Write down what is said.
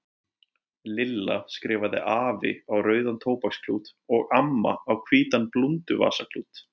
Lilla skrifaði AFI á rauðan tóbaksklút og AMMA á hvítan blúnduvasaklút.